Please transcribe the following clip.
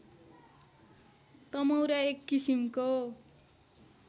तमौरा एक किसिमको